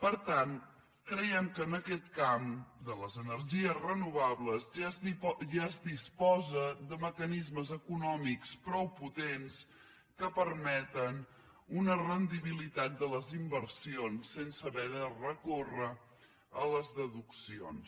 per tant creiem que en aquest camp de les energies re·novables ja es disposa de mecanismes econòmics prou potents que permeten una rendibilitat de les inversions sense haver de recórrer a les deduccions